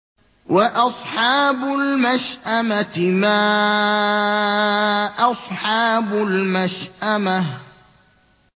وَأَصْحَابُ الْمَشْأَمَةِ مَا أَصْحَابُ الْمَشْأَمَةِ